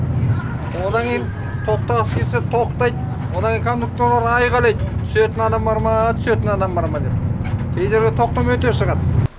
одан кейін тоқтағысы келсе тоқтайды одан кейін кондукторлар айқайлайды түсетін адам барма түсетін адам барма деп кейжерде тоқтамай өте шығады